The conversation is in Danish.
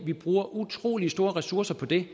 vi bruger utrolig store ressourcer på det